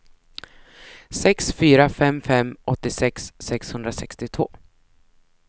sex fyra fem fem åttiosex sexhundrasextiotvå